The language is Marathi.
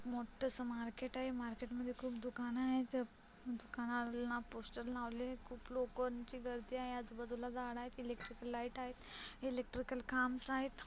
मोठस मार्केट आहे मार्केट मध्ये खूप दुकान आहेत दुकानाला पोस्टर लावले खूप लोकोंची गर्दी आहे आजूबाजूला झाड आहे इलेक्ट्रिकल लाईट आहेत इलक्ट्रिकल खांबस् आहे.